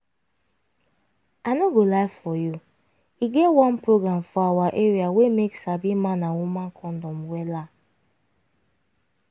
i no go lie for you e get one program for awa area wey make sabi man and woman condom wella